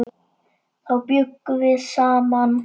Þá bjuggum við saman.